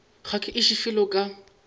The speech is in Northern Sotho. ga ke iše felo ka